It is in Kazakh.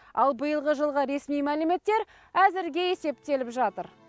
ал биылғы жылғы ресми мәліметтер әзірге есептеліп жатыр